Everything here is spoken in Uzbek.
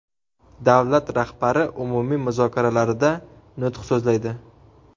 Davlat rahbari umumiy muzokaralarida nutq so‘zlaydi.